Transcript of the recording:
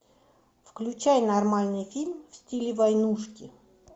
включай нормальный фильм в стиле войнушки